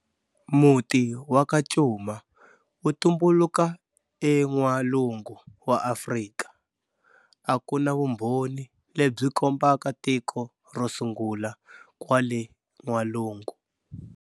Muti wa ka Cuma wu tumbuluka e n'walungu wa Afrika, aku na vumbhoni lebyi kombaka tiko ro sungula kwale n'walungu.